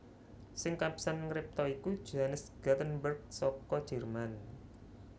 Sing kapisan ngripta iku Johannes Gutenberg saka Jerman